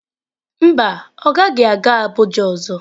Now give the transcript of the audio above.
Mba, ọ gaghị aga Abuja ọzọ.